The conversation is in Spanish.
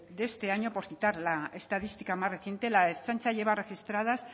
de este año por citar la estadística más reciente la ertzaintza lleva registradas